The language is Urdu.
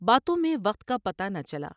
باتوں میں وقت کا پتہ نہ چلا ۔